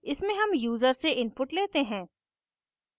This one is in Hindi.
इसमें हम यूज़र से input लेते हैं